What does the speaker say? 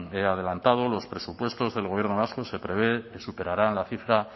he adelantado los presupuestos del gobierno vasco se prevé que superarán la cifra